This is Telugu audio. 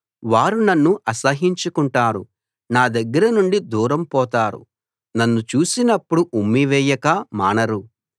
వారు నన్ను అసహ్యించుకుంటారు నా దగ్గర నుండి దూరంగా పోతారు నన్ను చూసినప్పుడు ఉమ్మివేయక మానరు